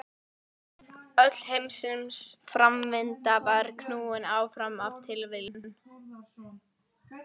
Öll heimsins framvinda var knúin áfram af tilviljunum.